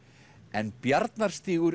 en